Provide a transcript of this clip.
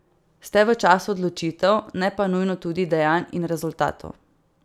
Ste v času odločitev, ne pa nujno tudi dejanj in rezultatov.